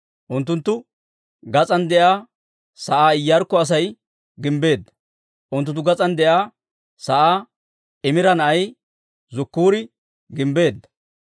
Unttunttu gas'aan de'iyaa sa'aa Iyaarkko Asay gimbbeedda. Unttunttu gas'aan de'iyaa sa'aa Imira na'ay Zakkuuri gimbbeedda.